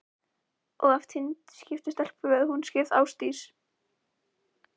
Og ef Tengdi eignast stelpu, verður hún skírð Ásdís